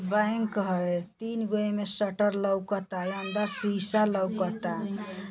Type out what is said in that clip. Bank ह। तीन गो एमें शटर लौकता। अंदर शीशा लौकता।